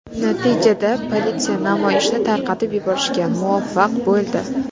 Natijada politsiya namoyishni tarqatib yuborishga muvaffaq bo‘ldi.